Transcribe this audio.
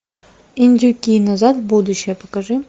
индюки назад в будущее покажи